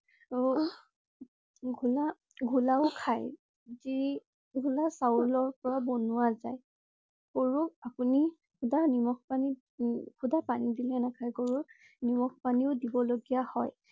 ঘোলা~ঘোলাও খাই জী ঘোলা চাউলৰ পৰা বনোৱা যায়, গৰু আপুনি শুদা নিমখ পানীত~শুদা পানী দিলে নাখাই। গৰুক নিমখ পানীও দিব লগীয়া হয়।